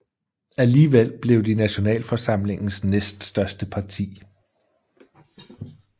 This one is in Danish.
Alligevel blev de Nationalforsamlingens næststørste parti